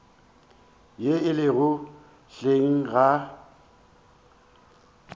ye e lego hleng ga